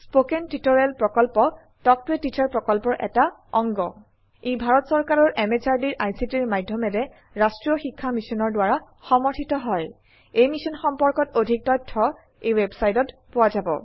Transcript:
ই ভাৰত চৰকাৰৰ MHRDৰ ICTৰ মাধয়মেৰে ৰাস্ত্ৰীয় শিক্ষা মিছনৰ দ্ৱাৰা সমৰ্থিত হয় এই মিশ্যন সম্পৰ্কত অধিক তথ্য spoken hyphen tutorial dot org slash এনএমইআইচিত হাইফেন ইন্ট্ৰ ৱেবচাইটত পোৱা যাব